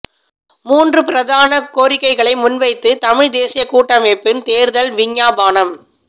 மூன்று பிரதான கோரிக்கைகளை முன்வைத்து தமிழ்த் தேசியக் கூட்டமைப்பின் தேர்தல் விஞ்ஞாபனம்